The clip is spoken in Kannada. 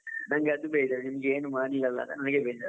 ನಂಗೆ ಅದು ಬೇಜಾರ್, ನಿಮಗೆ ಏನು ಮಾಡ್ಲಿಲ್ಲ ಅಲ್ಲಾ ನಂಗೆ ಬೇಜಾರು.